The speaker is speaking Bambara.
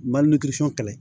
kɛlɛ